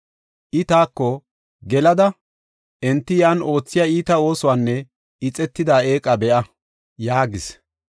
I taako, “Gelada enti yan oothiya iita oosuwanne ixetida eeqa be7a” yaagis.